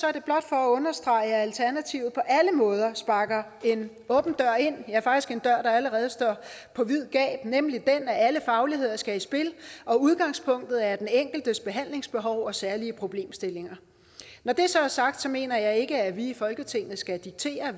er det blot for at understrege at alternativet på alle måder sparker en åben dør ind ja faktisk en dør der allerede står på vid gab nemlig den at alle fagligheder skal i spil og at udgangspunktet er den enkeltes behandlingsbehov og særlige problemstillinger når det så er sagt mener jeg ikke at vi i folketinget skal diktere